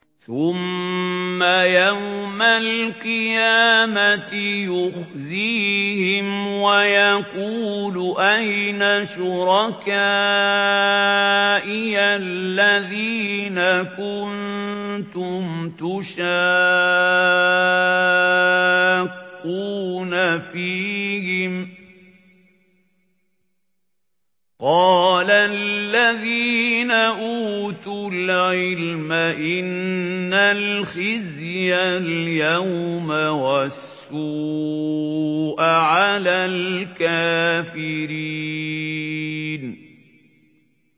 ثُمَّ يَوْمَ الْقِيَامَةِ يُخْزِيهِمْ وَيَقُولُ أَيْنَ شُرَكَائِيَ الَّذِينَ كُنتُمْ تُشَاقُّونَ فِيهِمْ ۚ قَالَ الَّذِينَ أُوتُوا الْعِلْمَ إِنَّ الْخِزْيَ الْيَوْمَ وَالسُّوءَ عَلَى الْكَافِرِينَ